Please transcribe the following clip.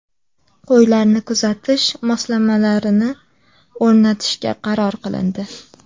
Qo‘ylarni kuzatish moslamalarini o‘rnatishga qaror qilindi.